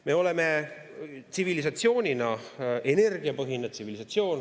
Me oleme tsivilisatsioonina energiapõhine tsivilisatsioon.